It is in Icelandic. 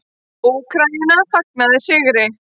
Úkraína fagnaði sigri